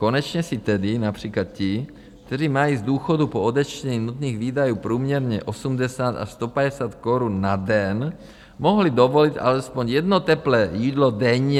Konečně si tedy například ti, kteří mají z důchodu po odečtení nutných výdajů průměrně 80 až 150 korun na den, mohli dovolit alespoň jedno teplé jídlo denně.